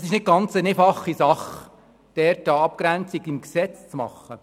Es ist nicht ganz einfach, eine Abgrenzung im Gesetz vorzunehmen.